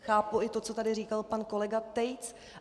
Chápu i to, co tady říkal pan kolega Tejc.